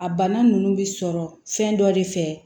A bana ninnu bɛ sɔrɔ fɛn dɔ de fɛ